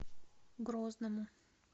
грозному